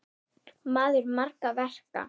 Maður margra verka.